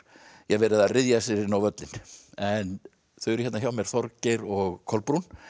verið að ryðja sér inn á völlinn en þau eru hérna hjá mér Þorgeir og Kolbrún